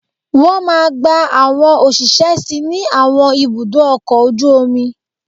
Wọ́n máa gba àwọn òṣìṣẹ́ sí ní àwọn ibùdó ọkọ̀ ojú omi